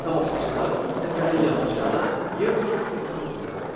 Tamaşaçılar təpənin yamacında yer tutub otururdular.